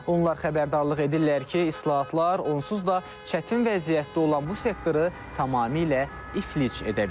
Onlar xəbərdarlıq edirlər ki, islahatlar onsuz da çətin vəziyyətdə olan bu sektoru tamamilə iflic edə bilər.